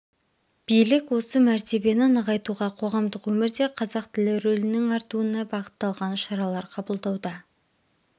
билік осы мәртебені нығайтуға қоғамдық өмірде қазақ тілі рөлінің артуына бағытталған шаралар қабылдауда